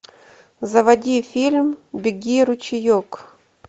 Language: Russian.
заводи фильм беги ручеек